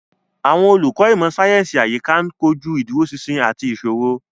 Àwọn olùkọ́ ìmọ̀ sáyẹ́sì àyíká ń kojú ìdúróṣinṣin àti ìṣòro.